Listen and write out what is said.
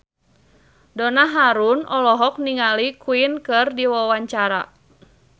Donna Harun olohok ningali Queen keur diwawancara